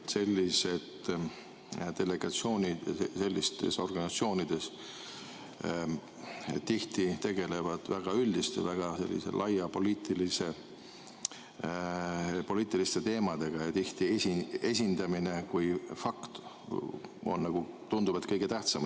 Sellised delegatsioonid sellistes organisatsioonides tihti tegelevad väga üldiste, väga selliste laiapindsete poliitiliste teemadega ja tihti esindamine kui fakt tundub nagu kõige tähtsam.